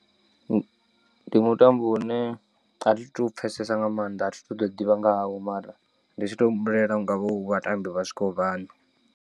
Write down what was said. Ndi mutambo une athi tu u pfesesa nga maanḓa athi tuto ḓivha nga hawo mara ndi tshi tou humbulela hungavha hu vhatambi vha swikaho vhaṋa.